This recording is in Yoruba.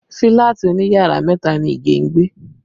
Fílàtì òní yàrá mẹ́ta ni Ige ń gbé